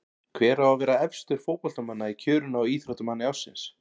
Hver á að vera efstur fótboltamanna í kjörinu á Íþróttamanni ársins?